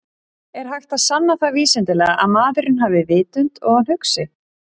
Er hægt að sanna það vísindalega að maðurinn hafi vitund og að hann hugsi?